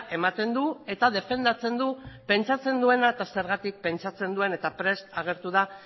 ematen du eta defendatzen du pentsatzen duena eta zergatik pentsatzen duen eta prest agertu da